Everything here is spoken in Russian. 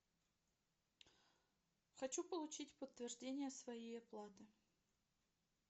хочу получить подтверждение своей оплаты